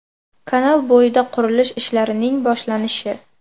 Kanal bo‘yida qurilish ishlarining boshlanishi.